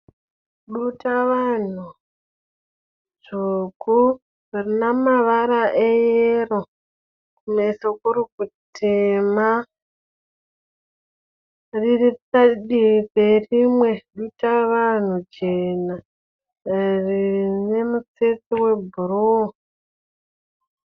Duta vanhu dzvuku, rinemavara eyero kumeso kurikutema. Riri padivi perimee dutavanhu jena nerimutsetse webhuruu